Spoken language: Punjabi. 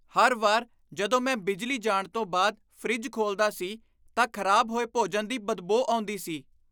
ਹਰ ਵਾਰ ਜਦੋਂ ਮੈਂ ਬਿਜਲੀ ਜਾਣ ਤੋਂ ਬਾਅਦ ਫਰਿੱਜ ਖੋਲਦਾ ਸੀ, ਤਾਂ ਖ਼ਰਾਬ ਹੋਏ ਭੋਜਨ ਦੀ ਬਦਬੋ ਆਉਂਦੀ ਸੀ।